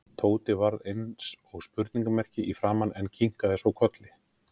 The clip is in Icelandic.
Tóti varð eins og spurningarmerki í framan en kinkaði svo kolli.